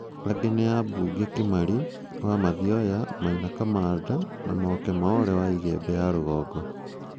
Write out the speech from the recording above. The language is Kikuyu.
Angĩ nĩ ambunge Kimari (Mathioya), Maina Kamanda) Maoka Maole (ĩgembe ya rũgongo).